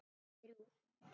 Við þrjú.